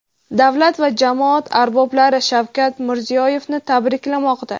davlat va jamoat arboblari Shavkat Mirziyoyevni tabriklamoqda.